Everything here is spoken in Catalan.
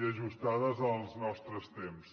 i ajustades als nostres temps